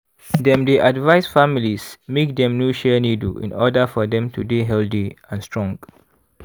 dem dey advice families make dem no share needle in order for dem to dey healthy and strong